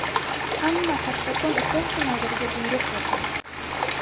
Hamma ‘kattakon’ uchastka noziriga buyruq beradi.